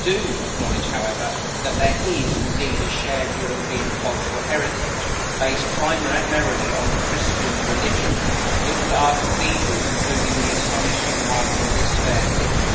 I do acknowledge, however, that there is indeed a shared European cultural heritage based primarily on the Christian religion. Look at our cathedrals, including the astonishing one in this fair city.